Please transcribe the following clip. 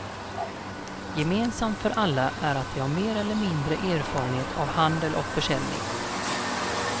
Gemensamt för alla är att de har mer eller mindre erfarenhet av handel och försäljning.